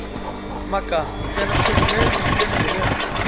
Magga, hvenær kemur leið númer fjörutíu og fimm?